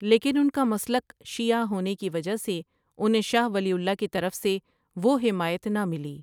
لیکن ان کا مسلک شیعہ ہونے کی وجہ سے انھیں شاہ ولی اللہ کی طرف سے وہ حمایت نہ ملی ۔